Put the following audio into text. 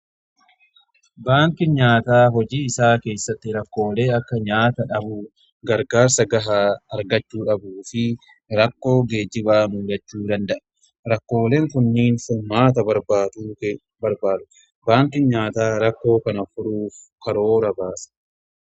Baanki nyaataa hojii isaa keessatti rakkoolee akka nyaata dhabuu gargaarsa gahaa argachuu dhabu fi rakkoo geejjibaa muulachuu danda'a rakkooleen kunniin fumaata . Baanki nyaataa rakkoo kana furuuf karoora baasa.